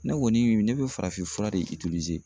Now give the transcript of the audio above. Ne kɔni ne bɛ farafin fura de